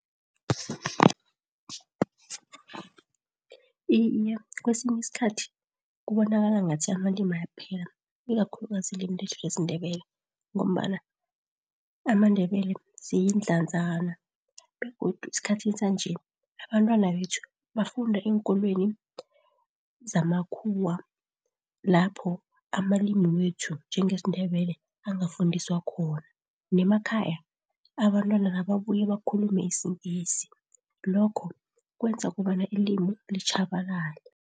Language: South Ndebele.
Iye, kwesinye isikhathi kubonakala ngathi amalimi ayaphela, ikakhulukazi ilimi lethu lesiNdebele, ngombana amaNdebele siyidlazana, begodu esikhathini sanje, abantwana bethu bafunda eenkolweni zamakhuwa. Lapho amalimi wethu njengesiNdebele angafundiswa khona. Nemakhaya, abantwana nababuya bakhulume isiNgisi. Lokho kwenza kobana ilimi litjhabalele.